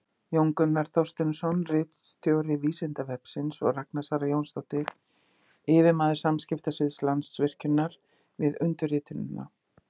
Jón Gunnar Þorsteinsson, ritstjóri Vísindavefsins, og Ragna Sara Jónsdóttir, yfirmaður samskiptasviðs Landsvirkjunar, við undirritunina.